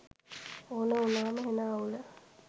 ඕන උනාම හෙන අවුල